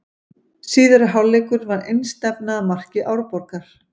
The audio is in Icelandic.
Síðari hálfleikur var einstefna að marki Árborgar.